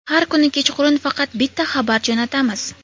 Har kuni kechqurun faqat bitta xabar jo‘natamiz.